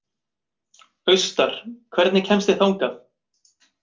Austar, hvernig kemst ég þangað?